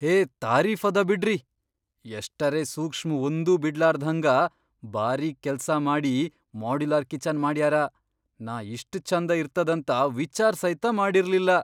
ಹೇ ತಾರೀಫದ ಬಿಡ್ರಿ, ಎಷ್ಟರೇ ಸೂಕ್ಷ್ಮ್ ಒಂದೂ ಬಿಡ್ಲಾರ್ದ್ಹಂಗ ಬಾರೀಕ್ ಕೆಲ್ಸಾ ಮಾಡಿ ಮಾಡುಲಾರ್ ಕಿಚನ್ ಮಾಡ್ಯಾರ! ನಾ ಇಷ್ಟ್ ಛಂದ ಇರ್ತದಂತ ವಿಚಾರ್ ಸೈತ ಮಾಡಿರ್ಲಿಲ್ಲಾ.